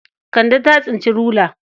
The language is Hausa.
Kande ta tsinci rula.